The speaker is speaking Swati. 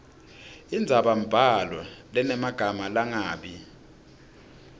indzabambhalo lenemagama langabi